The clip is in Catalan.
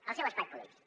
el seu espai polític